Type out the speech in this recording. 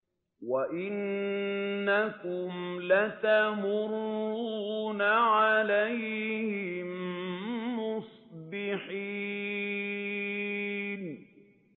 وَإِنَّكُمْ لَتَمُرُّونَ عَلَيْهِم مُّصْبِحِينَ